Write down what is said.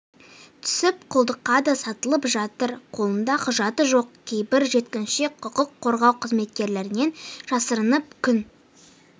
түсіп құлдыққа да сатылып жатыр қолында құжаты жоқ кейбір жеткіншек құқық қорғау қызметкерлерінен жасырынып күн